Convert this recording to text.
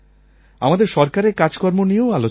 আমাদের সরকারের কাজকর্ম নিয়েও আলোচনা হয়